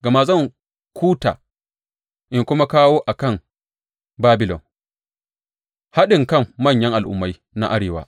Gama zan kuta in kuma kawo a kan Babilon haɗinkan manyan al’ummai na arewa.